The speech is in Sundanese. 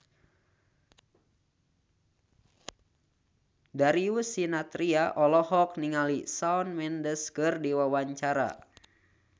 Darius Sinathrya olohok ningali Shawn Mendes keur diwawancara